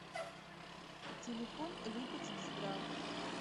телефон липецкздрав